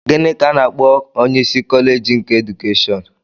Gịnị ka a na-akpọ onyeisi kọleeji keedukeshọn?